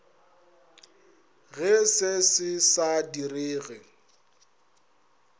ge se se sa direge